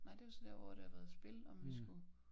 Nej det jo så der hvor der har været spil og om vi skulle